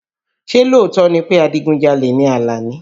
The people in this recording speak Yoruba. Ṣé lóòótọ́ ni pé adigunjalè ni Alani?